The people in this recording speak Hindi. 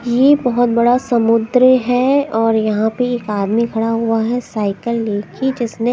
ये बहुत बड़ा समुद्र है और यहां पे एक आदमी खड़ा हुआ है साइकल लेके जिसमें--